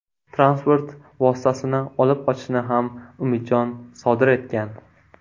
Transport vositasini olib qochishni ham Umidjon sodir etgan.